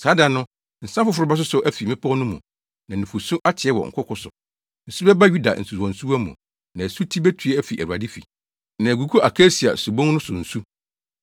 “Saa da no, nsa foforo bɛsosɔ afi mmepɔw no mu, na nufusu ateɛ wɔ nkoko so; Nsu bɛba Yuda nsuwansuwa mu, na asuti betue afi Awurade fi, na agugu akasia subon no so nsu.